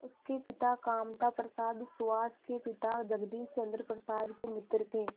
उसके पिता कामता प्रसाद सुहास के पिता जगदीश चंद्र प्रसाद के मित्र थे